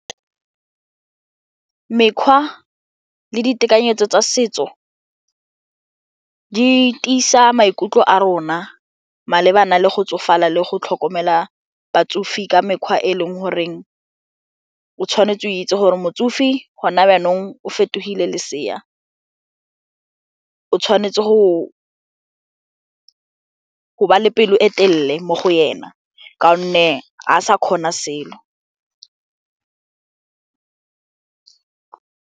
Mekgwa le ditekanyetso tsa setso di tiisa maikutlo a rona malebana le go tsofala le go tlhokomela batsofe ka mekgwa e e leng goreng o tshwanetse o itse gore motsofe gona jaanong o fetogile lesea, o tshwanetse go ba le pelo e telele mo go yena ka gonne ga sa kgona selo.